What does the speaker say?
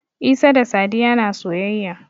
Isa da Sadiya na soyayya.